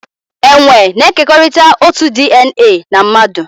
Enwe na-ekekọrịta otu DNA na mmadụ